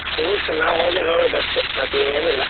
ಕೂರ್ಸುದು ನಾವು ಹೋಗಿ ನೋಡುದಷ್ಟೇ ಮತ್ತೇನಿಲ್ಲ.